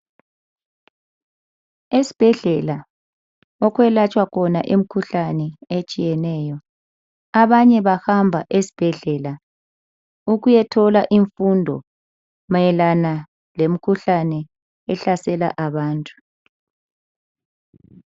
Esibhedlela okwelatshwa khona imikhuhlane etshiyeneyo. Abanye bahamba esibhedlela ukuyithola imfundo mayelana lemikhuhlane ehlasela abantu.